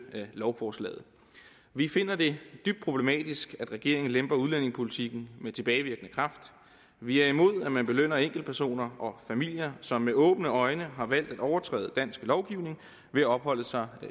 lovforslaget vi finder det dybt problematisk at regeringen lemper udlændingepolitikken med tilbagevirkende kraft vi er imod at man belønner enkeltpersoner og familier som med åbne øjne har valgt at overtræde dansk lovgivning ved at opholde sig